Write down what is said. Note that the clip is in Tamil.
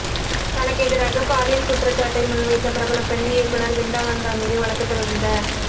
தனக்கெதிராக பாலியல் குற்றச்சாட்டை முன்வைத்த பிரபல பெண் இயக்குநர் வின்டா நந்தா மீது வழக்குத் தொடர்ந்த